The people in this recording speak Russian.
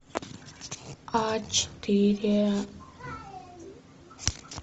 а четыре